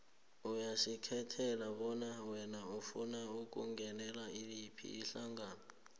uyazikhethela bona wena ufuna ukungenela yiphi ihlangano